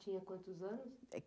Tinha quantos anos?